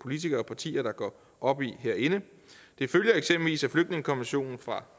politikere og partier der går op i herinde det følger eksempelvis af flygtningekonventionen fra